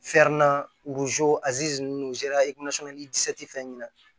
ninnu fɛn ɲina